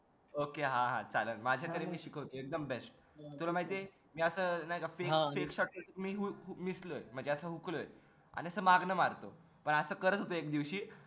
okay हा हा चाललं माझ्या तरीने शिकवतो तुला एकदम best तुला माहितेय मी ना आता shot shot आता हुकलोय आणि असं मागण मारलं तर असं करत होतो एक दिवशी